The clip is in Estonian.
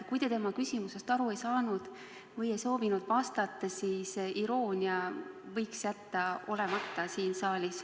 Kui te tema küsimusest aru ei saanud või ei soovinud sellele vastata, siis võiks iroonia siin saalis jääda olemata.